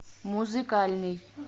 музыкальный